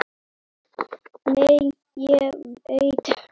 Nei, ég veit.